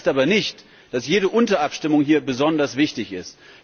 Das heißt aber nicht, dass jede Unterabstimmung hier besonders wichtig ist.